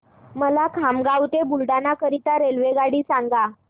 मला खामगाव ते बुलढाणा करीता रेल्वेगाडी सांगा